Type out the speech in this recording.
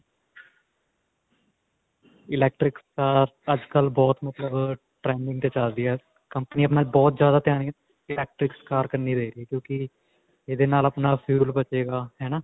electric cars ਤਾਂ ਅੱਜਕਲ੍ਹ ਬਹੁਤ ਮਤਲਬ trending ਤੇ ਚੱਲ ਰਹੀ ਹੈ company ਆਪਣਾ ਬਹੁਤ ਜਿਆਦਾ ਧਿਆਨ electric cars ਕੰਨੀ ਦੇ ਰਹੀ ਕਿਉਂਕਿ ਇਹਦੇ ਨਾਲ ਆਪਣਾ fuel ਬਚੇਗਾ ਹੈ ਨਾ.